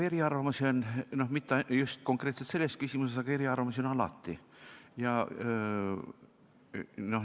Eriarvamusi on olnud, kuid mitte just konkreetselt selles küsimuses, aga eriarvamusi on alati.